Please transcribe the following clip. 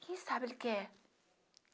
Quem sabe ele quer?